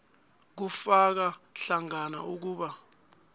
kufaka hlangana ukuba